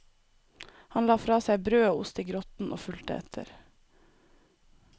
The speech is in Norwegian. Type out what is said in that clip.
Han la fra seg brød og ost i grotten og fulgte etter.